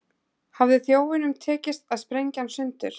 Hafði þjófnum tekist að sprengja hann sundur.